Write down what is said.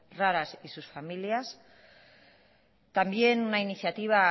raras y sus familias también una iniciativa